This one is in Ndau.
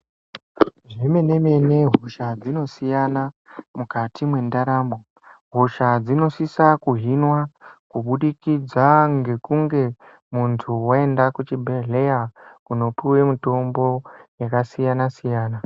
Zvemene-mene hosha dzinosiyana mukati mwendaramo. Hosha dzinosisa kuhinwa kubudikidza ngekunge muntu vaenda kuchibhedhleya kunopuve mutombo yakasiyana-siyana.